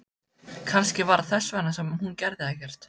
Kannski var það þess vegna sem hún gerði ekkert.